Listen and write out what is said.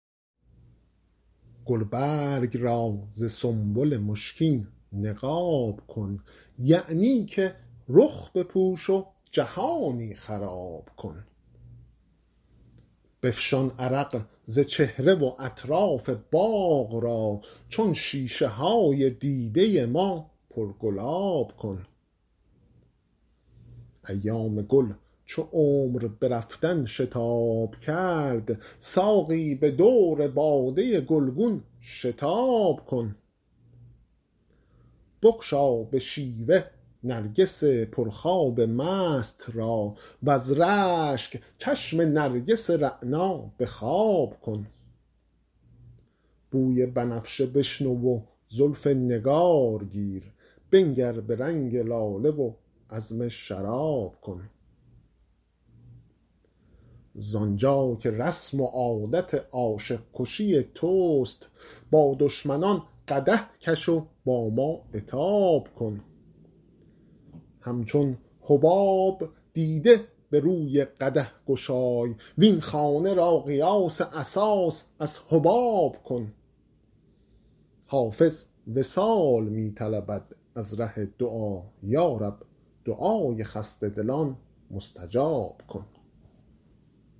گلبرگ را ز سنبل مشکین نقاب کن یعنی که رخ بپوش و جهانی خراب کن بفشان عرق ز چهره و اطراف باغ را چون شیشه های دیده ما پرگلاب کن ایام گل چو عمر به رفتن شتاب کرد ساقی به دور باده گلگون شتاب کن بگشا به شیوه نرگس پرخواب مست را وز رشک چشم نرگس رعنا به خواب کن بوی بنفشه بشنو و زلف نگار گیر بنگر به رنگ لاله و عزم شراب کن زآن جا که رسم و عادت عاشق کشی توست با دشمنان قدح کش و با ما عتاب کن همچون حباب دیده به روی قدح گشای وین خانه را قیاس اساس از حباب کن حافظ وصال می طلبد از ره دعا یا رب دعای خسته دلان مستجاب کن